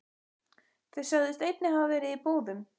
Þeir sögðust einnig hafa verið í búðum.